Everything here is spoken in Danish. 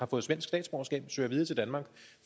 søge videre til danmark